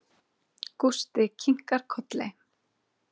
Gústi kinkar kolli.